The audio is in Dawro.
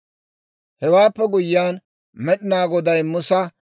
Hewaappe guyyiyaan Med'inaa Goday Musa,